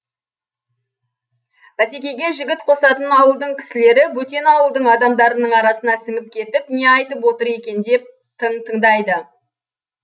бәсекеге жігіт қосатын ауылдың кісілері бөтен ауылдың адамдарының арасына сіңіп кетіп не айтып отыр екен деп тың тыңдайды